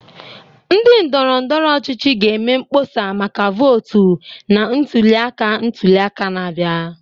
Ndị ndọrọndọrọ ọchịchị ga-eme mkpọsa maka votu na ntuli aka ntuli aka na-abịa.